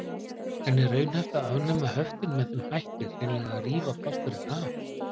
En er raunhæft að afnema höftin með þeim hætti, hreinlega að rífa plásturinn af?